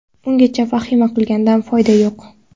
Ungacha vahima qilgandan foyda yo‘q.